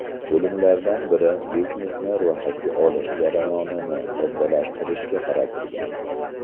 Bo‘limlardan biri biznesni ro‘yxatga olish jarayonini soddalashtirishga qaratilgan.